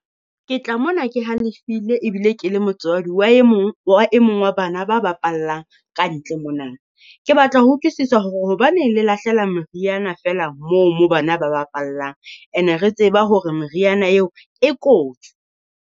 Ke tla mona ke halefile ebile ke le motswadi wa e mong wa e mong wa bana ba bapallang ka ntle monana. Ke batla ho utlwisisa hore hobaneng le lahlela meriana feela moo moo bana ba bapallang ene re tseba hore meriana eo e kotsi.